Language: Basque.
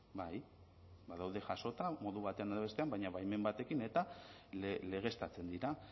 bai badaude jasota modu batean edo bestean baina baimen batekin eta legeztatzen dira